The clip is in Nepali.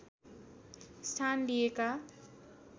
स्थान लिएका